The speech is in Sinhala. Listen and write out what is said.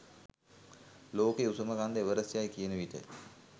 ලෝකයේ උසම කන්ද එවරස්ට් යයි කියනවිට